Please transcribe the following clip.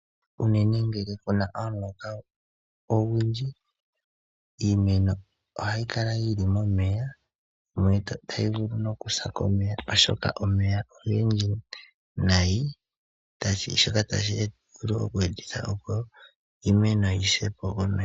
Unene ngele puna omuloka ogundji iimeno ohayi kala yili momeya mono tayi vulu no kusa komeya oshoka omeya ogendji nayi shoka tashi vulu eku etitha opo iimeno yi sepo komeya.